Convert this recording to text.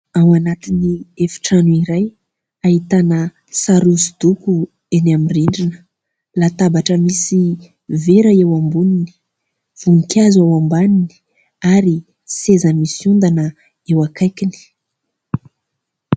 Ao anatin'ny efitrano iray, ahitana sary hosodoko eny amin'ny rindrina, latabatra misy vera eo amboniny , voninkazo eo ambaniny ary seza misy ondana eo akaikiny.